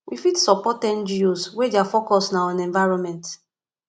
we fit support ngos wey their focus na on environment